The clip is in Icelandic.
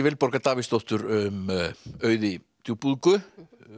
Vilborgar Davíðsdóttur um Auði djúpúðgu